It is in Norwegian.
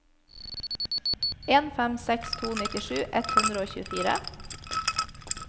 en fem seks to nittisju ett hundre og tjuefire